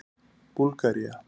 Búlgaría